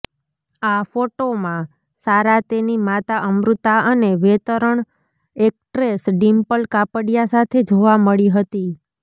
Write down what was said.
આ ફોટોમાં સારા તેની માતા અમૃતા અને વેતરણ એક્ટ્રેસ ડીમ્પલ કાપડિયા સાથે જોવા મળી હતી